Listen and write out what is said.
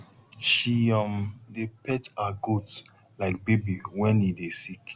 she um dey pet her goat like baby wen e dey sick